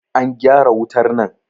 an gyara wutar nan!